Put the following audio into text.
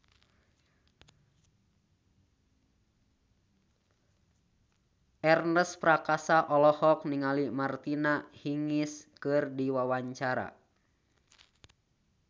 Ernest Prakasa olohok ningali Martina Hingis keur diwawancara